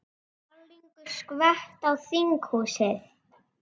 Málningu skvett á þinghúsið